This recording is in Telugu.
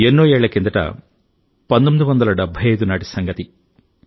ఎన్నో ఏళ్ల కిందట 1975 నాటి సంగతి ఇది